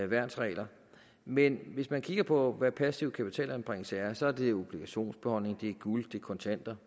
værnsregler men hvis man kigger på hvad passiv kapitalanbringelse er så er det obligationsbeholdninger det er guld det er kontanter